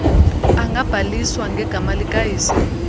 angabhaliswa ngegama likayise